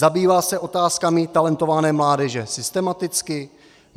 Zabývá se otázkami talentované mládeže systematicky?